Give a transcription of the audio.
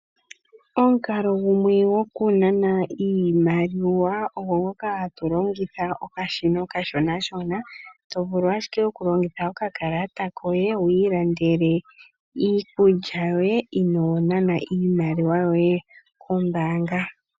Omukalo gumwe gokunana iimaliwa ogo ngoka hatu longitha okashina okashonashona, to vulu ashike okulongitha okakalata koye ilandela iikulya yoye inoo nana iimaliwa yoye kombaanga.